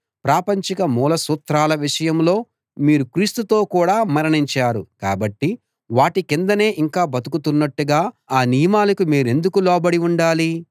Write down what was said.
ప్రాపంచిక మూల సూత్రాల విషయంలో మీరు క్రీస్తుతో కూడా మరణించారు కాబట్టి వాటి కిందనే ఇంకా బ్రతుకుతున్నట్టుగా ఆ నియమాలకు మీరెందుకు లోబడి ఉండాలి